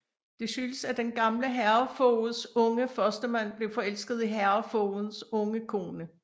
Det skyldes at den gamle herredsfogeds unge førstemand blev forelsket i herredsfogedens unge kone